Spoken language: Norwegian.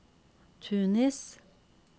Tunis